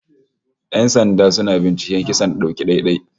Yan sanda suna binciken kisan dauki ɗai-ɗai